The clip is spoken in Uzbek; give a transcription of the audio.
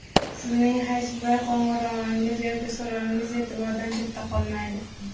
Sizning hech bir qo‘ng‘irog‘ingiz yoki so‘rovingiz e’tibordan chetda qolmaydi.